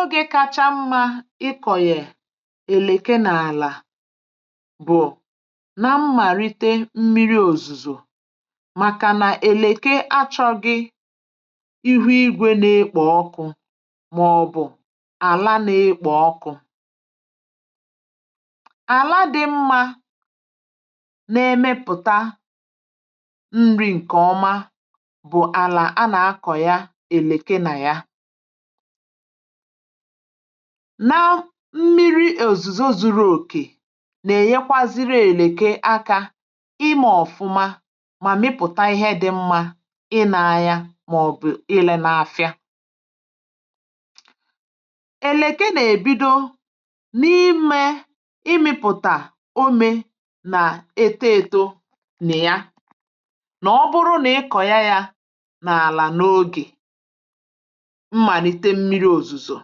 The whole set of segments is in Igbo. ògè kacha mma ikọ̀ yè èlèké n’àlà bụ̀ nà mmàlite mmírí òzùzò, màkà nà èlèké achọ̇ghị̇ ihu ìgwè n’ìkpò ọkụ̇ màọ̀bụ̀ àlà n’ìkpò ọkụ̇. àlà dị mma nà-èmepụ̀tà nri̇ ǹkè ọma bụ̀ àlà a nà-akọ̀ ya èlèké nà ya. na mmírí òzùzò zùrù òkè nà-ènyekwazịrị èlèké akà ímè ọ̀fụ̀ma mà mịpụ̀tà ihe dị̇ mma ị nà-àya màọ̀bụ̀ ìlé n’áfị̀a. èlèké n’èbídò n’ímè ịmị̇pụ̀tà òmè nà étò étò nè ya. nà ọ̀bụrụ̀ nà ị kọ̀ ya yà n’àlà n’ògè um mmàlite mmírí òzùzò,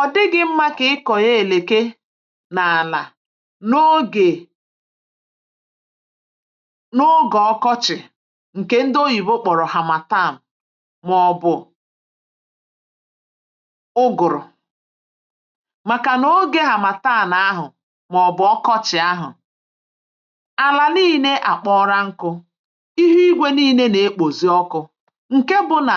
ọ̀ dịghị̇ mma kà ị kọ̀nyè èlèké n’àlà n’ògè ọkọ̀chị̀, ǹkè ndị oyìbo kpọ̀rọ̀ hàmàtàà màọ̀bụ̀ ùgùrù. màkà n’ògè hàmàtàà nà-àhụ̀ màọ̀bụ̀ ọkọ̀chị̀ ahụ̀, àlà níínè àkpọ́rà nkù̇, ihu ìgwè níínè nà-ìkpòzi ọkụ̇, ǹkè bụ̇ nà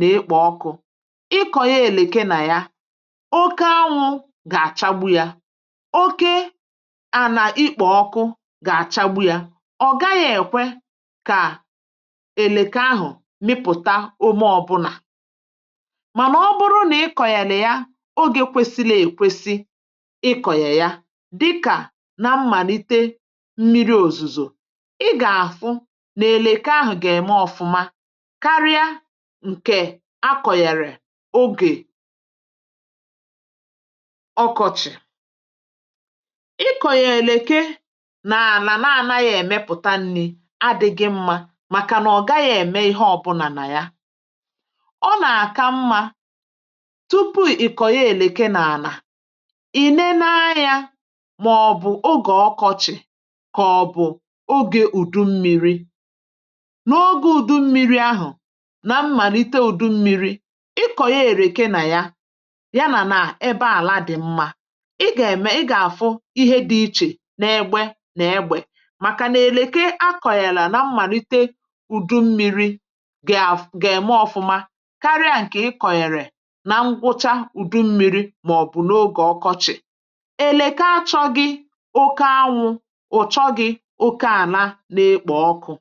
nà-ịkpọ́ ọkụ̇. ịkọ̀ ya èlèké nà ya, oke ànwụ̇ gà-àchàgbu yà, oke ànà ịkpọ̀ ọkụ gà-àchàgbu yà. ọ̀ gaghị̇ èkwe kà èlèké ahụ̀ mịpụ̀tà ume ọbụ̀nà. mànà ọ̀bụrụ̀ nà ị kọ̀nyèlè ya n’ògè kwèsì nà-èkwèsì, ịkọ̀nyè ya dịkà nà mmàlite mmírí òzùzò, ị gà-àfụ nà èlèké ahụ̀ gà-èmè ọ̀fụ̀ma um karịa ǹkè a kọ̀ghàrà n’ògè ọkọ̀chị̀. ịkọ̀nyè èlèké n’àlà nà-àná yà, ǹmepụ̀tà nri̇ adị̇ghị̇ mma, màkà nà ọ̀ gaghị̇ ème ihe ọbụ̀nà nà ya. ọ nà-àka mma tupu ị kọ̀ọ̀ yà èlèké n’àlà, ìné na yà màọ̀bụ̀ n’ògè ọkọ̀chị̀, kà ọ bụ̀ n’ògè ùdù mmírí um. nà ògé ùdù mmírí ahụ̀ nà mmàlite ùdù mmírí, ịkọ̀nyè èlèké nà ya, yà nà nà ebe àlà dị̀ mma, ị gà-èmè, ị gà-àfụ ihe dị̇ ìchè n’ègbè nà ìgwè, màkà nà èlèké a kọ̀nyèrè nà mmàlite ùdù mmírí gà-àv, gà-èmè ọ̀fụ̀ma karịa ǹkè ị kọ̀nyèrè nà ngwụ̀chá ùdù mmírí màọ̀bụ̀ n’ògè ọkọ̀chị̀. èlèké achọ̇ghị̇ oke ànwụ̇, achọ̇ghị̇ oke ànà nà-èkpà ọkụ̇.